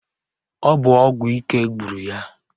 Ọ bụ ọgwụ ike gburu ya.